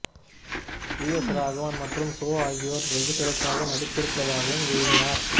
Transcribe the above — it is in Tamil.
வி எஸ் ராகவன் மற்றும் சோ ஆகியோர் வெகு சிறப்பாக நடித்திருப்பதாகவும் எழுதினார்